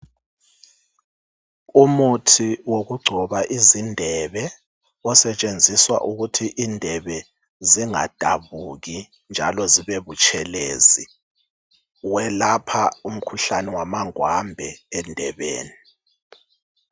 Umuthi wokugcoba izindebe osetshenziswa ukuthi indebe zingadabuki njalo zibe butshelezi welapha umkhuhlane wamangwambe endebeni